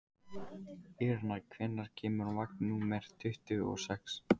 Irena, hvenær kemur vagn númer tuttugu og sex?